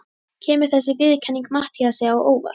Kemur þessi viðurkenning Matthíasi á óvart?